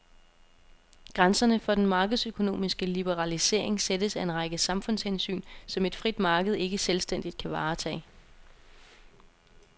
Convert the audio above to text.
Grænserne for den markedsøkonomiske liberalisering sættes af en række samfundshensyn, som et frit marked ikke selvstændigt kan varetage.